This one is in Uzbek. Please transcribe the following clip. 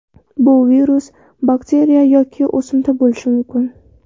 Bu virus, bakteriya yoki o‘simta bo‘lishi mumkin.